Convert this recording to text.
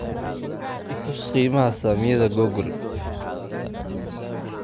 i tus qiimaha saamiyada google